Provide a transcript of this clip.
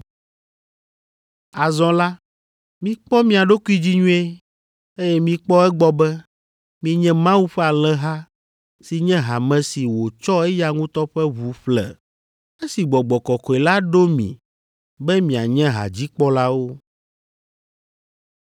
Azɔ la, mikpɔ mia ɖokui dzi nyuie, eye mikpɔ egbɔ be, mienyi Mawu ƒe alẽha si nye hame si wòtsɔ eya ŋutɔ ƒe ʋu ƒle, esi Gbɔgbɔ Kɔkɔe la ɖo mi be mianye hadzikpɔlawo.